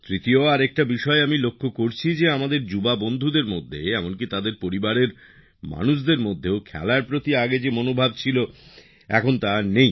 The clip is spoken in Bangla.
তৃতীয় আরেকটা বিষয় আমি লক্ষ্য করছি যে আমাদের যুবকযুবতীদের মধ্যে এমনকী তাদের পরিবারের মানুষদের মধ্যেও খেলার প্রতি আগে যে মনোভাব ছিল এখন তা আর নেই